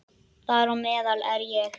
Þar á meðal er ég.